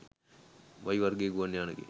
වයිවර්ගයේ ගුවන් යානයකින්